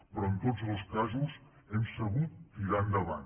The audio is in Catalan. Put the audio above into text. però en tots dos casos hem sabut tirar endavant